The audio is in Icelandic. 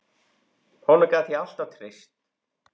Honum gat ég alltaf treyst.